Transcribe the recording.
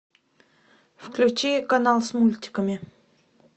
включи канал с мультиками